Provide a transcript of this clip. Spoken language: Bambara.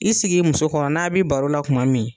I sigi i muso kɔrɔ n'a bɛ baro la kuma min